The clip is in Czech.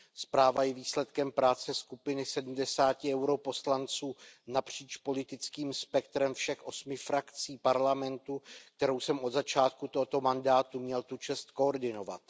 Zpráva je výsledkem práce skupiny sedmdesáti poslanců EP napříč politickým spektrem všech osmi frakcí Parlamentu, kterou jsem od začátku tohoto mandátu měl tu čest koordinovat.